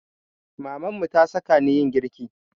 Mamanmu ta saka ni yin girki